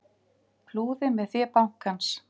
Flúði með fé bankans